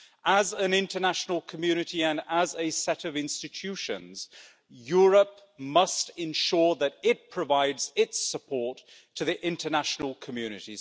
As part of the international community and as a set of institutions, Europe must ensure that it provides its support to the international community.